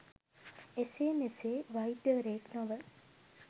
එසේ මෙසේ වෛද්‍යවරයෙක් නොව